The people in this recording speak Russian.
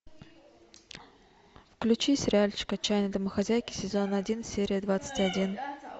включи сериальчик отчаянные домохозяйки сезон один серия двадцать один